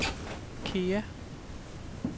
Kea